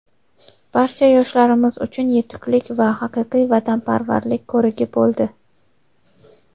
barcha yoshlarimiz uchun yetuklik va haqiqiy vatanparvarlik ko‘rigi bo‘ldi.